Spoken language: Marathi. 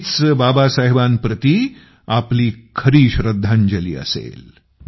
हीच बाबासाहेबांप्रति आपली खरी श्रद्धांजली असेल